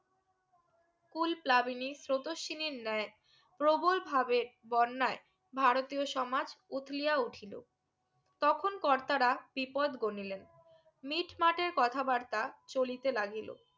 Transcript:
কুলপ্লাবিনি স্রোতস্বিনী ন্যায়ে প্রবল ভাবে বন্যায় ভারতীয় সমাজ উতলিয়া উঠিলো তখন কর্তারা বিপত গোনিলেন মিটমাটের কথা বার্তা চলিতে লাগিলো